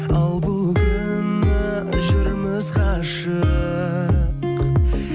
ал бұл күні жүрміз қашық